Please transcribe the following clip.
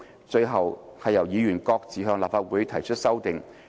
最後，議員各自向立法會提出修訂。